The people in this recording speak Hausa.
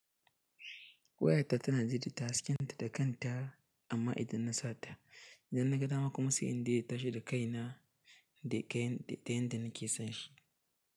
Wayarta tana ji da tayi tahaskenta da kanta amma idan na sa ta, idan naga dama kuma sai in dai ya tashi da kai na da kayan da ta yanda na ke son shi.